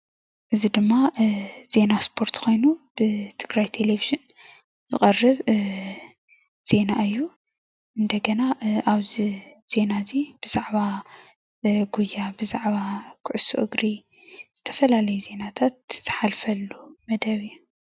እዚ ድማ ዜና ስፖርት ኮይኑ ብትግራይ ቴለቪን ዝቀርብ ዜና እዩ። እንደገና አብዚ ዜና እዚ ብዛዕባ ጉያ፣ ኩዕሶ እግሪ ዝተፈላለዩ ዜናታት ዝሓልፈሉ መደብ እዩ።